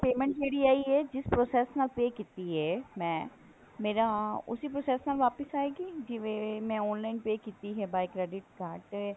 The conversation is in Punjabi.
payment ਜਿਹੜੀ ਆਈ ਹੈ ਜਿਸ process ਨਾਲ pay ਕੀਤੀ ਹੈ ਮੈਂ ਮੇਰਾ ਉਸੀ process ਨਾਲ ਵਾਪਿਸ ਆਏਗੀ ਜਿਵੇਂ ਮੈਂ online pay ਕੀਤੀ ਹੈ by credit card ਤੇ